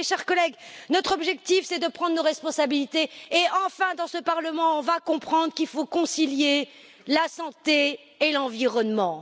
Alors mes chers collègues, notre objectif c'est de prendre nos responsabilités et enfin, dans ce Parlement, on va comprendre qu'il faut concilier la santé et l'environnement.